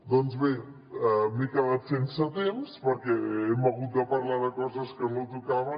doncs bé m’he quedat sense temps perquè hem hagut de parlar de coses que no tocaven